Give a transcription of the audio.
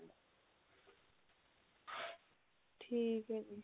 ਠੀਕ ਹੈ ਜੀ